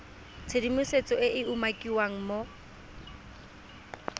tshedimosetso e e umakiwang mo